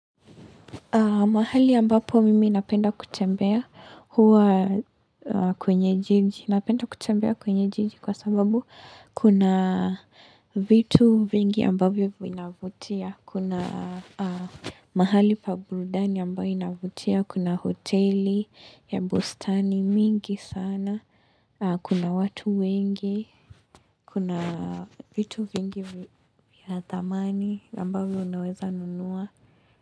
Mahali ambapo mimi napenda kutembea huwa kwenye jiji. Napenda kutembea kwenye jiji kwa sababu kuna vitu vingi ambapo inavutia. Kuna mahali pa burudani ambayo inavutia. Kuna hoteli ya bustani mingi sana. Kuna watu wengi. Kuna vitu vingi ya thamani ambavyo unaweza nunua.